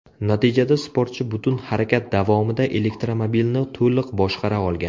Natijada sportchi butun harakat davomida elektromobilni to‘liq boshqara olgan.